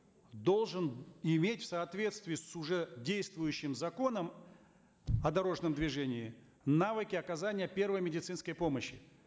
должен иметь в соответствии с уже действующим законом о дорожном движении навыки оказания первой медицинской помощи